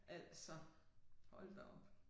Altså hold da op